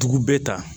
Dugu bɛɛ ta